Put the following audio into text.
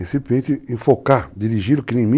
É simplesmente enfocar, dirigir o crime.